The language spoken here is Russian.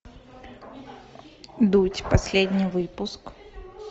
дудь последний выпуск